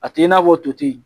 A t'i n'a fɔ toti